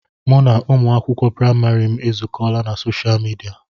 Mụ na ụmụ akwụkwọ praịmarị m ezukọọla na soshaal midia.